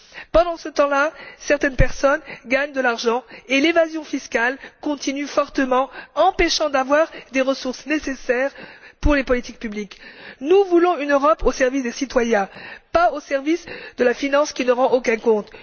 Pendant ce temps là, certaines personnes gagnent de l'argent et l'évasion fiscale continue fortement, empêchant les ressources nécessaires aux politiques publiques de rentrer dans les caisses. Nous voulons une Europe au service des citoyens, pas au service de la finance, qui ne rend aucun compte.